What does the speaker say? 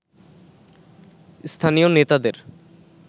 স্থানীয় নেতাদের